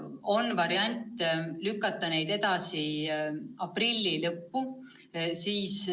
On variant lükata need aprilli lõppu.